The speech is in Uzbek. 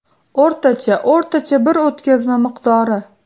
O‘rtacha o‘rtacha bir o‘tkazma miqdori.